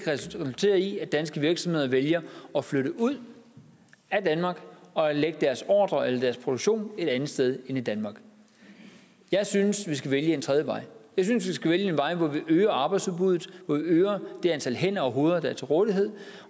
resultere i at danske virksomheder vælger at flytte ud af danmark og lægge deres produktion et andet sted end i danmark jeg synes vi skal vælge en tredje vej jeg synes vi skal vælge en vej hvor vi øger arbejdsudbuddet og øger det antal hænder og hoveder der er til rådighed